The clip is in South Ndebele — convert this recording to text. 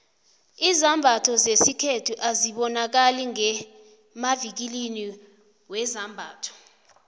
izambatho zesikhethu azibonakali ngemavikilini wezambatho